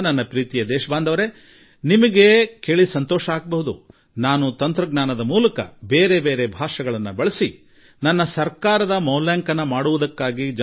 ನನ್ನ ಆತ್ಮೀಯ ದೇಶವಾಸಿಗಳೆ ಸಂತೋಷದ ಸಂಗತಿ ಎಂದರೆ ನಾನು ತಂತ್ರಜ್ಞಾನದ ಮೂಲಕ ಬೇರೆ ಬೇರೆ ಭಾಷೆಗಳನ್ನು ಬಳಸಿಕೊಂಡು ಜನರಿಗೆ ನನ್ನ ಸರ್ಕಾರದ ಮೌಲ್ಯಾಂಕನಕ್ಕೆ ಆಹ್ವಾನ ನೀಡಿದೆ